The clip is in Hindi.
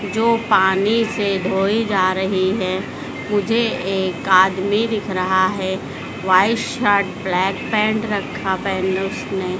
जो पानी से धोई जा रही है मुझे एक आदमी दिख रहा है व्हाइट शर्ट ब्लैक पैंट रखा पहन उसने।